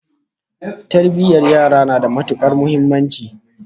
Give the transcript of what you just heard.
Tarbiyyar yara na da matukar muhimmanci